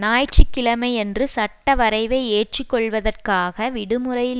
ஞாயிற்று கிழமையன்று சட்டவரைவை ஏற்று கொள்ளுவதற்காக விடுமுறையில்